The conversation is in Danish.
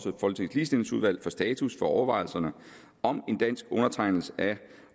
ligestillingsudvalget om status for overvejelserne om en dansk undertegnelse